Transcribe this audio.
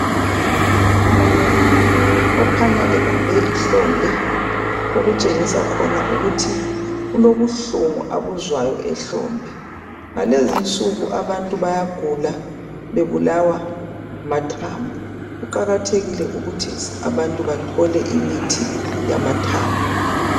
Umuntu okhanya ebambe ihlombe. Okutshengisa khona ukuthi kulobuhlungu abuzwayo ehlombe,. Ngalezi insuku, abantu. bayagula bebulawa ngamathambo. Kuqakathekile ukuthi abantu bathole imithi yamathambo.